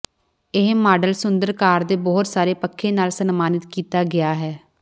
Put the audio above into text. ਇਹ ਮਾਡਲ ਸੁੰਦਰ ਕਾਰ ਦੇ ਬਹੁਤ ਸਾਰੇ ਪੱਖੇ ਨਾਲ ਸਨਮਾਨਿਤ ਕੀਤਾ ਗਿਆ ਹੈ